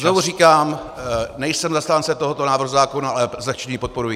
Znovu říkám, nejsem zastánce tohoto návrhu zákona, ale zlehčení podporuji.